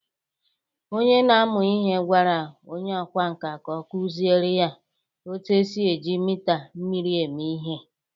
onye na-amụ ihe gwara onye ọkwá nkà ka ọ kụziere ya otú e si eji mita mmiri eme ihe